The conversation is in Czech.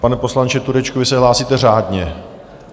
Pane poslanče Turečku, vy se hlásíte řádně?